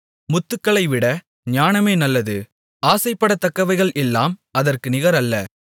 முத்துக்களைவிட ஞானமே நல்லது ஆசைப்படத்தக்கவைகள் எல்லாம் அதற்கு நிகரல்ல